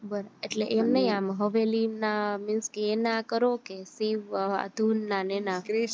એટલે એમ નય આમ હવેલી ના means એના કરો કે શિવ ધૂન ના ને એના